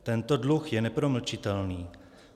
Tento dluh je nepromlčitelný.